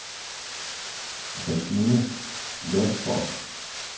Christine Lundsgaard